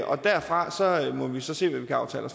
og derfra må vi så se hvad vi kan aftale